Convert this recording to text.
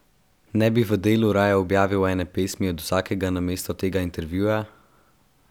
Ne bi v Delu raje objavili ene pesmi od vsakega namesto tega intervjuja?